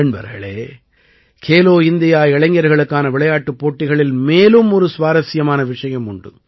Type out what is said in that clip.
நண்பர்களே கேலோ இந்தியா இளைஞர்களுக்கான விளையாட்டுப் போட்டிகளில் மேலும் ஒரு சுவாரசியமான விஷயம் உண்டு